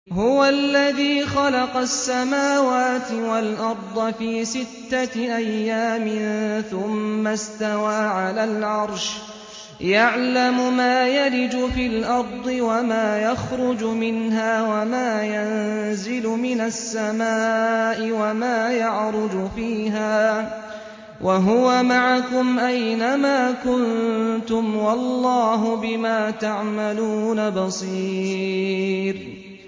هُوَ الَّذِي خَلَقَ السَّمَاوَاتِ وَالْأَرْضَ فِي سِتَّةِ أَيَّامٍ ثُمَّ اسْتَوَىٰ عَلَى الْعَرْشِ ۚ يَعْلَمُ مَا يَلِجُ فِي الْأَرْضِ وَمَا يَخْرُجُ مِنْهَا وَمَا يَنزِلُ مِنَ السَّمَاءِ وَمَا يَعْرُجُ فِيهَا ۖ وَهُوَ مَعَكُمْ أَيْنَ مَا كُنتُمْ ۚ وَاللَّهُ بِمَا تَعْمَلُونَ بَصِيرٌ